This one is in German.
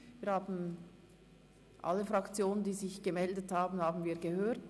Wir haben alle Fraktionen, die sich gemeldet haben, gehört.